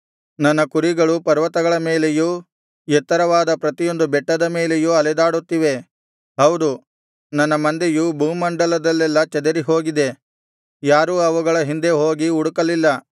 ನನ್ನ ಕುರಿಗಳು ಪರ್ವತಗಳ ಮೇಲೆಯೂ ಎತ್ತರವಾದ ಪ್ರತಿಯೊಂದು ಬೆಟ್ಟದ ಮೇಲೆಯೂ ಅಲೆದಾಡುತ್ತಿವೆ ಹೌದು ನನ್ನ ಮಂದೆಯು ಭೂಮಂಡಲದಲ್ಲೆಲ್ಲಾ ಚದುರಿಹೋಗಿದೆ ಯಾರೂ ಅವುಗಳ ಹಿಂದೆ ಹೋಗಿ ಹುಡುಕಲಿಲ್ಲ